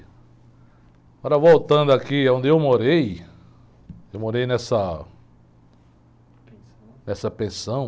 Agora, voltando aqui aonde eu morei, eu morei nessa... Nessa pensão.